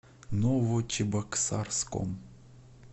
новочебоксарском